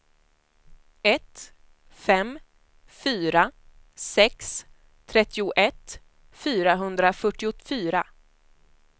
ett fem fyra sex trettioett fyrahundrafyrtiofyra